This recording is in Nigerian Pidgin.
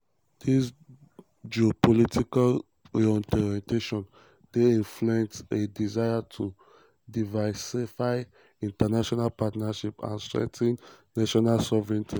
dis geopolitical reorientation dey reflect a um desire to diversify international partnerships and strengthen national sovereignty. um